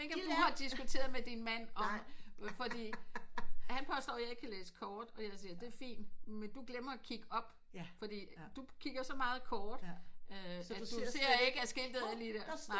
Jeg ved ikke om du har diskuteret med din mand om fordi han påstår jeg ikke kan læse kort og jeg siger det er fint men du glemmer at kigge op fordi du kigger så meget kort øh så du ser ikke der er skiltet alligevel